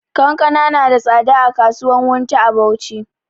Kankana na da tsada a kasuwan wunti a bauchi